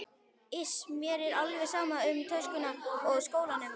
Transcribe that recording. Iss, mér er alveg sama um töskuna og skólann